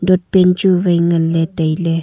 dotpen chu wai nganley tailey.